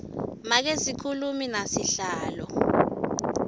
make sikhulumi nasihlalo